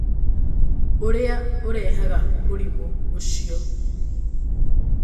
Ũrĩa Ũrehaga Mũrimũ Ũcio